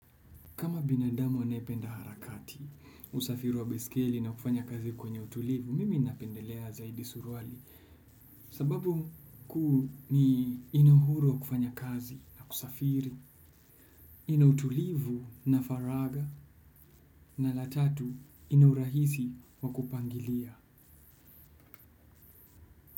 Kama binadamu anayependa harakati, usafiri wa baiskeli na kufanya kazi kwenye utulivu, mimi napendelea zaidi suruali. Sababu kuu ni, ina uhuru wa kufanya kazi na kusafiri, ina utulivu na faragha, na la tatu, ina urahisi wa kupangilia.